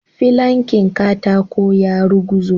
Filankin katako ya ruguzo.